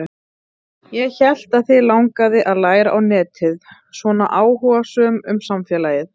Ég hélt að þig langaði að læra á netið, svona áhugasöm um samfélagið.